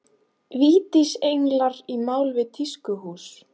Vítisenglar í mál við tískuhús